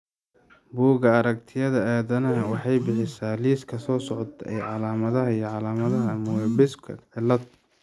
Bugga Aragtiyaha Aadanaha waxay bixisaa liiska soo socda ee calaamadaha iyo calaamadaha Moebiuska cilad.